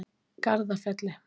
Garðafelli